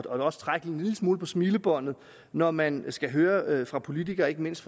også trække en lille smule på smilebåndet når man skal høre det fra politikere ikke mindst